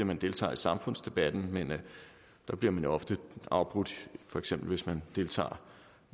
man deltager i samfundsdebatten men der bliver man jo ofte afbrudt for eksempel hvis man deltager